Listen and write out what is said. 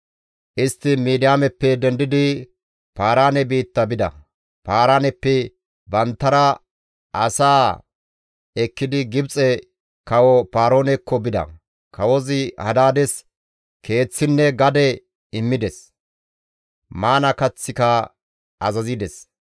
Istti Midiyaameppe dendidi Paaraane biitta bida; Paaraaneppe banttanara asaa ekkidi Gibxe kawo Paaroonekko bida. Kawozi Hadaades keeththinne gade immides; maana kaththika azazides.